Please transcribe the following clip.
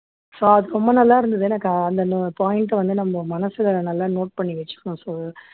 so அது ரொம்ப நல்லா இருந்தது எனக்கு அந்த அந்த point அ வந்து நம்ம மனசுல நல்லா note பண்ணி வச்சுக்கணும் so